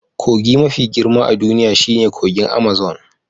Kogin mafi girma a duniya shine kogin Amazon